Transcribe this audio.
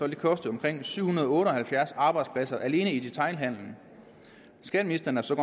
det koste omkring syv hundrede og otte og halvfjerds arbejdspladser alene i detailhandelen skatteministeren er så